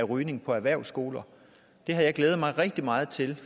rygning på erhvervsskoler det havde jeg glædet mig rigtig meget til